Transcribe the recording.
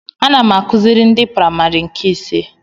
Ana m akụziri ndị praimarị nke ise